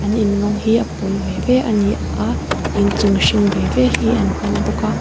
an in rawng hi a pawl ve ve a ni a inchung hring ve ve hi an hmang bawk a.